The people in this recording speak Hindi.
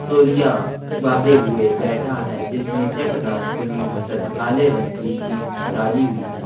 तोलियां बांधे हुए बैठा है जिसने चेक दार कमीज तथा काले रंग की जीन्स डाली हुई है।